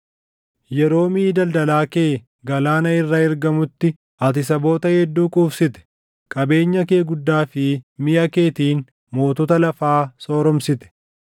Yeroo miʼi daldalaa kee galaana irra ergamutti, ati saboota hedduu quufsite; qabeenya kee guddaa fi miʼa keetiin mootota lafaa sooromsite.